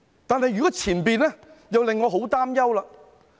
但如果是前者，這又令我十分擔憂。